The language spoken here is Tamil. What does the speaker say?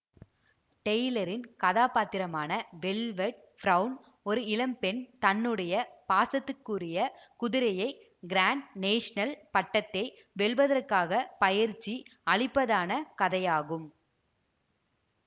டெய்லரின் கதாபாத்திரமான வெல்வெட் பிரௌன் ஒரு இளம் பெண் தன்னுடைய பாசத்துக்குரிய குதிரையை கிராண்ட் நேஷனல் பட்டத்தை வெல்வதற்காக பயிற்சி அளிப்பதான கதையாகும்